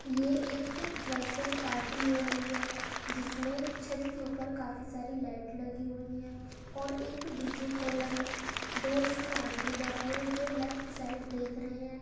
ये एक fresher party हो रही है जिसमें छत के ऊपर काफी सारी लाइट लगी हुई है और एक डी.जे. कॉलम है। दो इसमें आदमी बैठे हुए हैं जो लेफ्ट साइड देख रहे हैं।